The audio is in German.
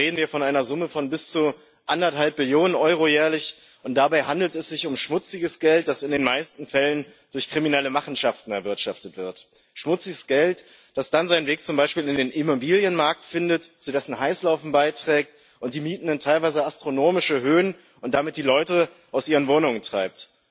Weltweit reden wir von einer Summe von bis zu 1,5 Billionen Euro jährlich. Dabei handelt es sich um schmutziges Geld, das in den meisten Fällen durch kriminelle Machenschaften erwirtschaftet wird, schmutziges Geld, das dann seinen Weg zum Beispiel in den Immobilienmarkt findet, zu dessen Heißlaufen beiträgt und die Mieten in teilweise astronomische Höhen und damit die Leute aus ihren Wohnungen treibt.